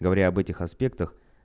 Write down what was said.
говоря об этих аспектах